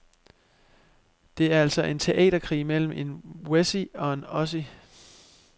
Det er altså en teaterkrig mellem en wessie og en ossie.